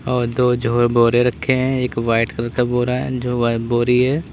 और दो जो है बोरे रखे हैं एक वाइट कलर का बोरा है जो बोरी है।